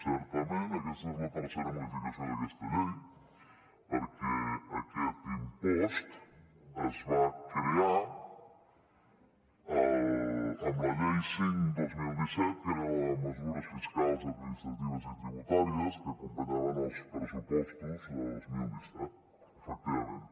certament aquesta és la tercera modificació d’aquesta llei perquè aquest impost es va crear amb la llei cinc dos mil disset que era la de mesures fiscals administratives i tributàries que acompanyaven els pressupostos de dos mil disset efectivament